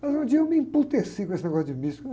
Mas um dia eu me com esse negócio de místico, né?